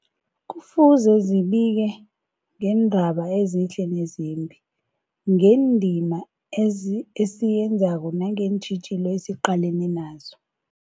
Kufuze zibike ngeendaba ezihle nezimbi, ngendima ezi esiyenzako nangeentjhijilo esiqalene nazo.